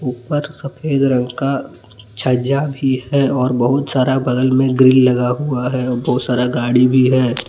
पर सफेद रंग का छज्जा भी है और बहुत सारा बगल मे ग्रिल लगा हुआ है और बहुत सारा गाड़ी भी है।